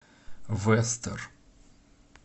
вестер